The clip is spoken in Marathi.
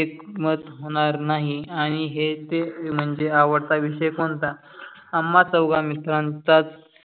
एकमत होणार नाही, आणि हे ते म्हणजे आवडता विषय कोणता. आम्हा चोघा मित्रांचा